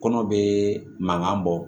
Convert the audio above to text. Kɔnɔ bɛ mankan bɔ